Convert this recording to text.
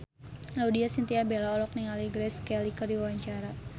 Laudya Chintya Bella olohok ningali Grace Kelly keur diwawancara